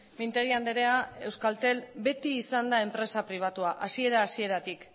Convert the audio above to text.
mintegi andrea euskaltel beti izan da enpresa pribatua hasiera hasieratik